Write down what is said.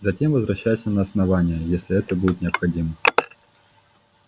затем возвращайся на основание если это будет необходимо